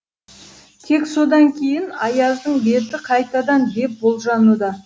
тек содан кейін аяздың беті қайтадан деп болжануда